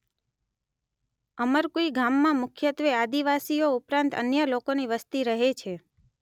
અમરકુઇ ગામમાં મુખ્યત્વે આદિવાસીઓ ઉપરાંત અન્ય લોકોની વસ્તી રહે છે